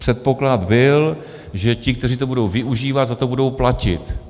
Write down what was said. Předpoklad byl, že ti, kteří to budou využívat, za to budou platit.